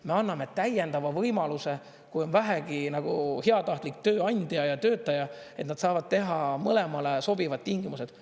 Me anname täiendava võimaluse, kui on vähegi nagu heatahtlik tööandja ja töötaja, et nad saavad teha mõlemale sobivad tingimused.